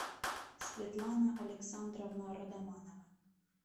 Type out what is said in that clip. светлана александровна родоманова